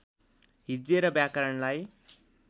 हिज्जे र व्याकरणलाई